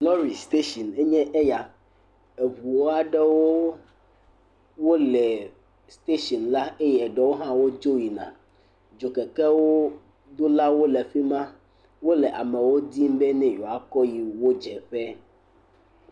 Lɔri station aɖewoe nyɔ ya. Eŋu aɖewo le station la eye eɖewo hã wodzo yina. Dzokekewo do la wo le fima, wole amewo dzim bey ewɔa kɔ yi wodze ƒe.